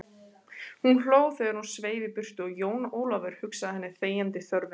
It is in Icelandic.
Hún hló þegar hún sveif í burtu og Jón Ólafur hugsað henni þegjandi þörfina.